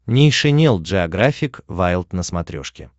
нейшенел джеографик вайлд на смотрешке